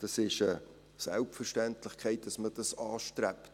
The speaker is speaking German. Es ist eine Selbstverständlichkeit, dass man dies anstrebt.